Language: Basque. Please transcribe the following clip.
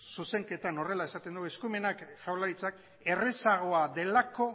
zuzenketan horrela esaten dugu jaurlaritzak